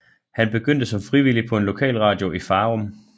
Han begyndte som frivillig på en lokalradio i Farum